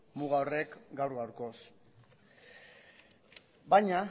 muga horrek gaur gaurkoz baina